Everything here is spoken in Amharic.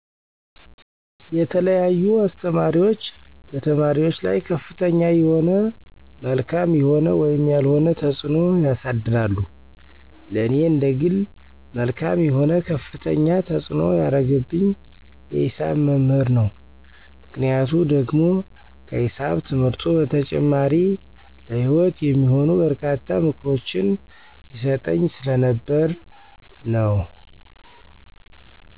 የተለያዩ አስተማሪዎች በተማሪዎች ላይ ከፍተኛ የሆነ መልካም የሆነ ወይም ያልሆነ ተፅዕኖ ያሳድራሉ። ለኔ እንደግል መልካም የሆነ ከፍተኛ ተፅዕኖ ያረገብኝ የሂሳብ መምህር ነው፤ ምክንያቱ ደግሞ ከሂሳብ ትምህርቱ በተጨማሪ ለሂወት የሚሆኑ በርካታ ምክሮችን ይሰጠኝ ስለነበር ነው።